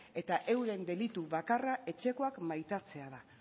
eta euren delitu bakarra etxekoak maitatzea da